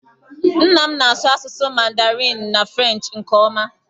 Nna m na-asụ asụsụ Mandarinụ na Frenchị nke ọma